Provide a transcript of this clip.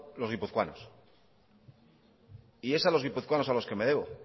los guipuzcoanos y es a los guipuzcoanos a los que me debo